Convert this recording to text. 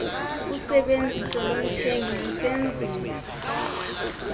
usebenziso lomthengi lusenziwa